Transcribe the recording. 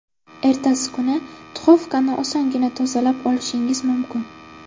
Ertasi kuni duxovkani osongina tozalab olishingiz mumkin.